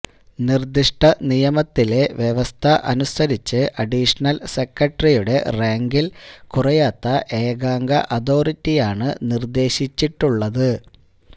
നിര്ദ്ദിഷ്ട നിയമത്തിലെ വ്യവസ്ഥ അനുസരിച്ച് അഡീഷനല് സെക്രട്ടറിയുടെ റാങ്കില് കുറയാത്ത ഏകാംഗ അതോറിറ്റിയാണ് നിര്ദ്ദേശിച്ചിട്ടുളളത്